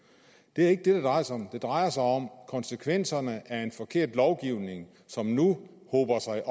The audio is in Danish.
det er ikke det det drejer sig om det drejer sig om konsekvenserne af en forkert lovgivning som nu hober sig